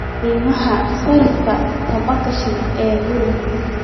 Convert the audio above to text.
qiimaha sarifka tobanka shilin ee Euro